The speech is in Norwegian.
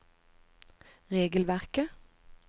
regelverket